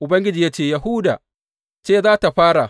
Ubangiji ya ce, Yahuda ce za tă fara.